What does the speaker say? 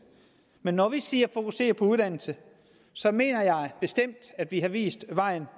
men når jeg siger fokusere på uddannelse så mener jeg bestemt at vi har vist vejen